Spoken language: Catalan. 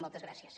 moltes gràcies